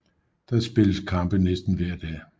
Der spilles kampe næsten hver dag